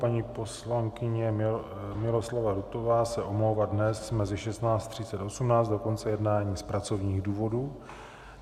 Paní poslankyně Miloslava Rutová se omlouvá dnes mezi 16.30 až 18.00 do konce jednání z pracovních důvodů.